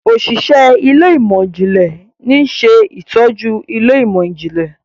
Òṣìṣẹ́ Ilé ìmọ̀n-jinlẹ ní ṣe ìtọjú Ilé ìmọ̀n-jinlẹ.